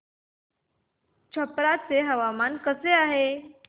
छप्रा चे हवामान कसे आहे